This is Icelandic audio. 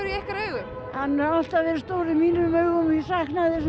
í ykkar augum hann hefur alltaf verið stór í mínum augum ég sakna þess